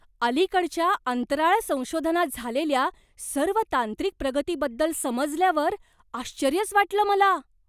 अलीकडच्या अंतराळ संशोधनात झालेल्या सर्व तांत्रिक प्रगतीबद्दल समजल्यावर आश्चर्यच वाटलं मला.